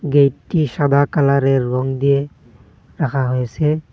গেইটটি সাদা কালারের রং দিয়ে রাখা হয়েসে।